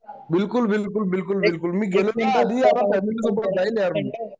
बिलकुल बिलकुल बिलकुल बिलकुल मी गेलो नहीं आता फॅमिली सोबत जाईल यार मी